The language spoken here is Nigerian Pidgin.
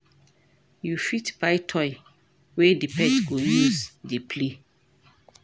You fit buy toy wey di pet go use dey play